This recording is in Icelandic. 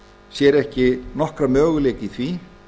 sér ekki möguleika í því